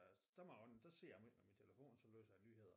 Der må jeg indrømme der sidder jeg meget med min telefon så læser jeg nyheder